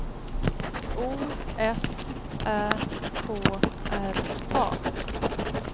O S Ä K R A